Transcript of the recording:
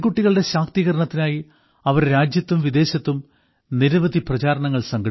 പെൺകുട്ടികളുടെ ശാക്തീകരണത്തിനായി അവർ രാജ്യത്തും വിദേശത്തും നിരവധി പ്രചാരണങ്ങൾ നടത്തി